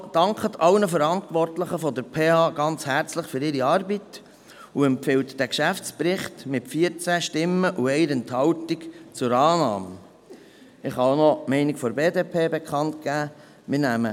Die BiK dankt allen Verantwortlichen der PH Bern ganz herzlich für ihre Arbeit und empfiehlt diesen Geschäftsbericht mit 14 Stimmen bei 1 Enthaltung zur Annahme.